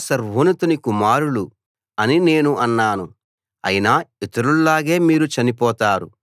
మీరు దేవుళ్ళు మీరంతా సర్వోన్నతుని కుమారులు అని నేను అన్నాను